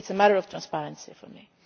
to buy. It is a matter of transparency